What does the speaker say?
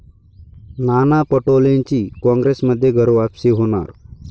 नाना पटोलेंची काँग्रेसमध्ये घरवापसी होणार